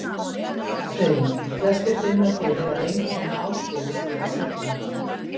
Hreyfing: Flestir finna fyrir að einkenni ágerist við að svitna.